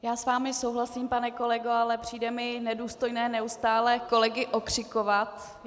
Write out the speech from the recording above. Já s vámi souhlasím, pane kolego, ale přijde mi nedůstojné neustále kolegy okřikovat.